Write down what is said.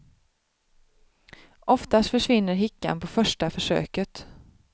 Oftast försvinner hickan på första försöket.